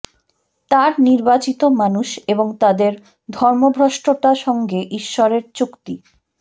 তাঁর নির্বাচিত মানুষ এবং তাদের ধর্মভ্রষ্টতা সঙ্গে ঈশ্বরের চুক্তি